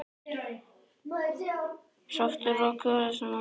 Sofðu rótt, elsku mamma.